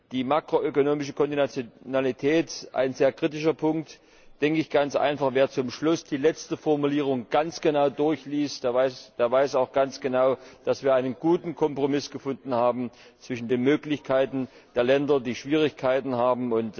Die makroökonomische Konditionalität ein sehr kritischer Punkt da denke ich ganz einfach, wer zum Schluss die letzte Formulierung ganz genau durchliest, der weiß auch ganz genau, dass wir einen guten Kompromiss gefunden haben, zwischen den Möglichkeiten der Länder, die Schwierigkeiten haben.